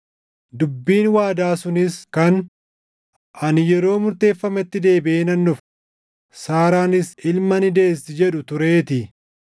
Dubbiin waadaa sunis kan, “Ani yeroo murteeffametti deebiʼee nan dhufa; Saaraanis ilma ni deessi” + 9:9 \+xt Uma 18:10,14\+xt* jedhu tureetii.